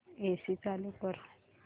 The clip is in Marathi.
एसी चालू कर